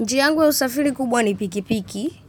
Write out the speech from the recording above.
Njia yangu ya usafiri kubwa ni pikipiki.